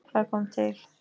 Hvað kom til?